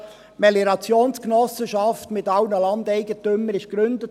Die Meliorationsgenossenschaft mit allen Landeigentümern wurde gegründet.